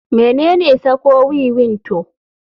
Menene sako wiwin to?